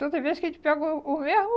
Toda vez que a gente pega o o mesmo,